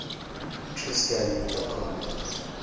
tristan da cunha